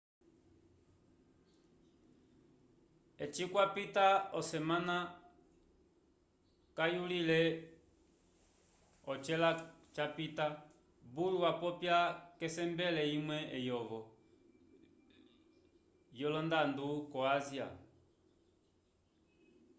eci kwapita osemana kayulile ocela capita bush wapopya k'esembele imwe eyovo yolondando ko ásia